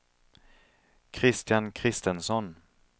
Kristian Christensson